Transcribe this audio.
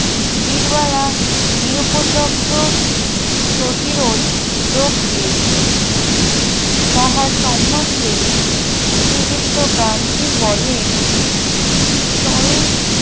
বীরবালা নিরুপদ্রব্য প্রতিরোধ যোগ দিয়েছিল তাহার সম্বন্ধে শ্রীযুক্ত গান্ধী বলেন সরল